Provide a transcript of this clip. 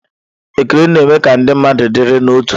Ekele na-eme ka ndị mmadụ dịrị n'otu.